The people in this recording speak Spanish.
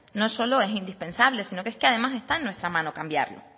no solo es indispensable sino es que además están en nuestra mano cambiarlo